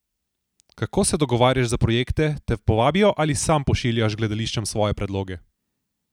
Kako se dogovarjaš za projekte, te povabijo ali sam pošiljaš gledališčem svoje predloge?